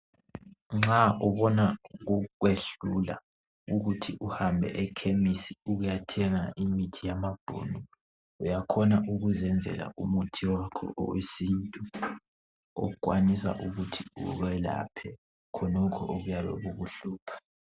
Nxa ubona kukwehlula ukuthi uhambe ekhemisi ukuyathenga imuthi yamabhunu uyakhona ukuzenzela umuthi wakho owesintu okwanisa ukuthi ukwelaphe khonokhu okuyabe kukuhlupha.